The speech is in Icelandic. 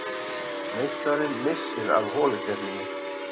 Meistarinn missir af holukeppninni